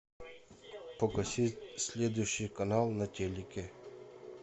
погасить следующий канал на телике